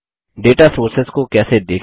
data sources को कैसे देखें